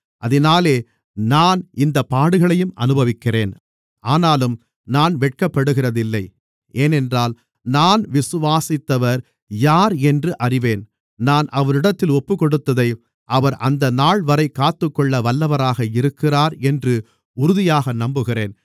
அதினாலே நான் இந்தப் பாடுகளையும் அனுபவிக்கிறேன் ஆனாலும் நான் வெட்கப்படுகிறதில்லை ஏனென்றால் நான் விசுவாசித்தவர் யார் என்று அறிவேன் நான் அவரிடத்தில் ஒப்புக்கொடுத்ததை அவர் அந்தநாள்வரைக் காத்துக்கொள்ள வல்லவராக இருக்கிறார் என்று உறுதியாக நம்புகிறேன்